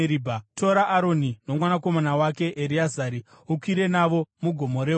Tora Aroni nomwanakomana wake Ereazari ukwire navo muGomo reHori.